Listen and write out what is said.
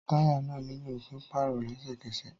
Táyà náà nílò pípáàrò lẹ́sẹ̀kẹsẹ̀